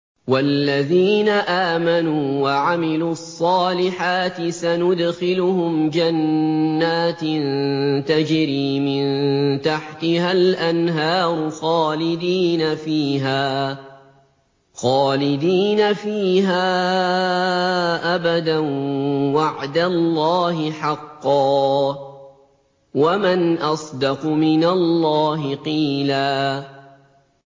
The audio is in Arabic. وَالَّذِينَ آمَنُوا وَعَمِلُوا الصَّالِحَاتِ سَنُدْخِلُهُمْ جَنَّاتٍ تَجْرِي مِن تَحْتِهَا الْأَنْهَارُ خَالِدِينَ فِيهَا أَبَدًا ۖ وَعْدَ اللَّهِ حَقًّا ۚ وَمَنْ أَصْدَقُ مِنَ اللَّهِ قِيلًا